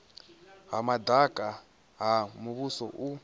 ha madaka ha muvhuso u